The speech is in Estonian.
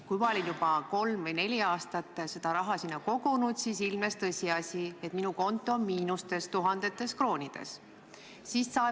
Kui ma olin juba kolm või neli aastat raha sinna kogunud, siis ilmnes tõsiasi, et minu konto on tuhandetes kroonides miinustes.